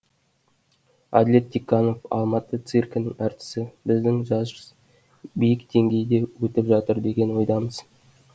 әділет тиканов алматы циркінің әртісі біздің жарыс биік деңгейде өтіп жатыр деген ойдамыз